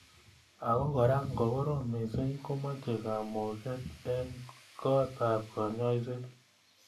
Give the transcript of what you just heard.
Ak kora ngo korom missing komeche kamung'et eng kot ab kanyoiset.